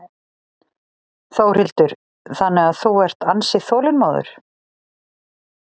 Þórhildur: Þannig að þú ert ansi þolinmóður?